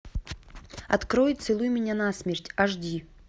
открой целуй меня на смерть аш ди